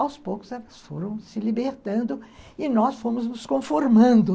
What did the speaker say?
aos poucos elas foram se libertando e nós fomos nos conformando.